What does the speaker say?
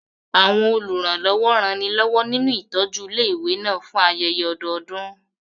Àwọn olùrànlọ́wọ́ ranilọ́wọ́ nínú ìtọ́jú ilé ìwé náà fún ayẹyẹ ọdọọdún